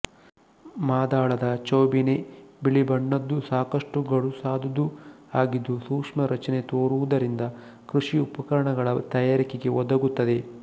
ಮಾದಳದ ಚೌಬೀನೆ ಬಿಳಿಬಣ್ಣದ್ದೂ ಸಾಕಷ್ಟು ಗಡುಸಾದುದೂ ಆಗಿದ್ದು ಸೂಕ್ಷ್ಮ ರಚನೆ ತೋರುವುದರಿಂದ ಕೃಷಿ ಉಪಕರಣಗಳ ತಯಾರಿಕೆಗೆ ಒದಗುತ್ತದೆ